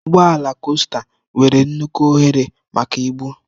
Ụgbọ ala costa nwere nnukwu ohere maka ibu.